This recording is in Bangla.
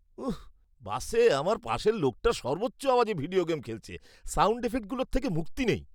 উঃ, বাসে আমার পাশের লোকটা সর্বোচ্চ আওয়াজে ভিডিও গেম খেলছে। সাউণ্ড এফেক্টগুলোর থেকে মুক্তি নেই।